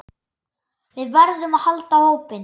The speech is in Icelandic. Við verðum að halda hópinn!